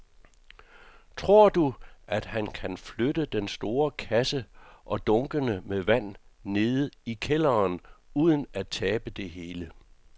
Tror du, at han kan flytte den store kasse og dunkene med vand ned i kælderen uden at tabe det hele?